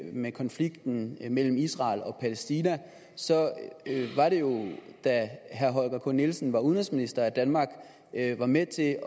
med konflikten mellem israel og palæstina var det jo da herre holger k nielsen var udenrigsminister at danmark var med til